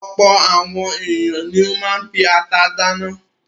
Ọ̀pọ̀ àwọn ènìyàn ni ó máa ń fi ata dáná.